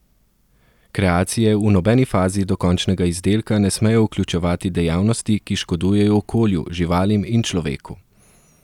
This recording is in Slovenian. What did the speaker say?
Kreacije v nobeni fazi do končnega izdelka ne smejo vključevati dejavnosti, ki škodujejo okolju, živalim in človeku.